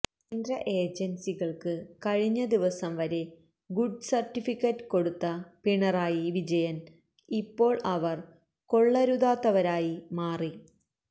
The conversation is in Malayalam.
കേന്ദ്ര ഏജന്സികള്ക്ക് കഴിഞ്ഞ ദിവസം വരെ ഗുഡ് സര്ട്ടിഫിക്കറ്റ് കൊടുത്ത പിണറായി വിജയന് ഇപ്പോള് അവര് കൊള്ളരുതാത്തവരായി മാറി